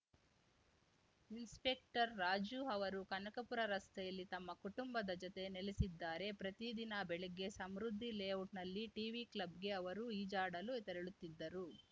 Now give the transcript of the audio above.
inspector Raju ಅವರು ಕನಕಪುರ ರಸ್ತೆಯಲ್ಲಿ ತಮ್ಮ ಕುಟುಂಬದ ಜತೆ ನೆಲೆಸಿದ್ದಾರೆ ಪ್ರತಿ ದಿನ ಬೆಳಗ್ಗೆ ಸಮೃದ್ಧಿ ಲೇಔಟ್‌ನಲ್ಲಿ ಟಿವಿ ಕ್ಲಬ್‌ಗೆ ಅವರು ಈಜಾಡಲು ತೆರಳುತ್ತಿದ್ದರು